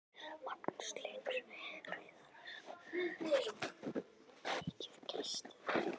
Magnús Hlynur Hreiðarsson: Er hún mikið kæst eða?